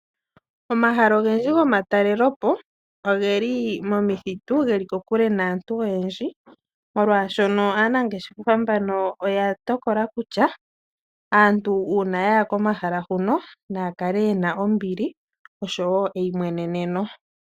Omahala ogendji gomatalelepo ogeli momithiti geli kokule aantu oyendji molwaashono aanangeshefa mbano oya tokola kutya aantu uuna yaya komahala hino naya kale yena ombili osho woo eyimweneneno.